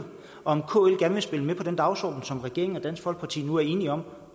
om kl gerne vil spille med på den dagsorden som regeringen og dansk folkeparti nu er enige om